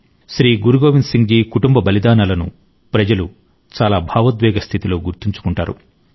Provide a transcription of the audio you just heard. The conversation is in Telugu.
శ్రీ గురు గోవింద్ సింగ్ జీ కుటుంబ బలిదానాలను ప్రజలు చాలా భావోద్వేగ స్థితిలో గుర్తుంచుకుంటారు